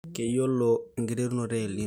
keyiolo enkiterunoto El Nino